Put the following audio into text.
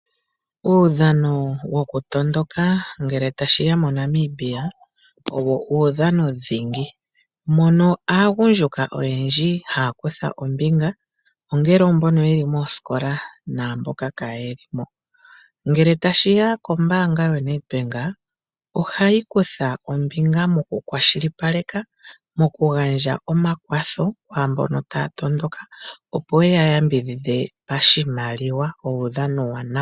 Uudhano wokutondoka ngele tashiya moNamibia owo udhano dhingi, mono aagundjuka oyendji ha ya kutha ombinga mboka yeli mooskola namboka kaye li moskola. Ngele tashiya ko mbanga ya Nedbank ohayi kutha ombinga moku kwashilipaleka moku gandja omakwatho kwambono ta ya tondoka opo ye ya yambidhidhe pashiimaliwa ngele ta ya tondoka.